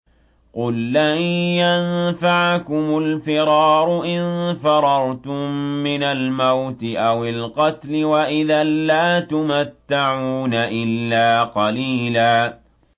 قُل لَّن يَنفَعَكُمُ الْفِرَارُ إِن فَرَرْتُم مِّنَ الْمَوْتِ أَوِ الْقَتْلِ وَإِذًا لَّا تُمَتَّعُونَ إِلَّا قَلِيلًا